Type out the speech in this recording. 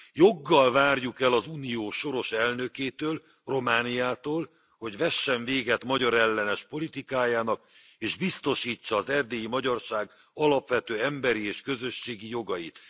Joggal várjuk el az Unió soros elnökétől, Romániától, hogy vessen véget magyarellenes politikájának és biztosítsa az erdélyi magyarság alapvető emberi és közösségi jogait.